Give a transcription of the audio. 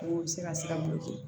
O bɛ se ka se ka boli kɛ